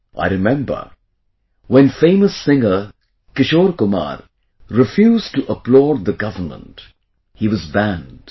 I remember when famous singer Kishore Kumar refused to applaud the government, he was banned